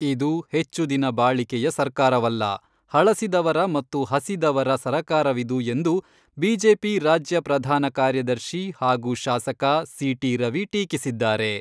ಇದು ಹೆಚ್ಚು ದಿನ ಬಾಳಿಕೆಯ ಸರ್ಕಾರವಲ್ಲ , ಹಳಸಿದವರ ಮತ್ತು ಹಸಿದವರ ಸರಕಾರವಿದು ಎಂದು ಬಿಜೆಪಿ ರಾಜ್ಯ ಪ್ರಧಾನ ಕಾರ್ಯದರ್ಶಿ ಹಾಗೂ ಶಾಸಕ ಸಿ.ಟಿ.ರವಿ ಟೀಕಿಸಿದ್ದಾರೆ.